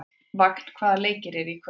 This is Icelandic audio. Vagn, hvaða leikir eru í kvöld?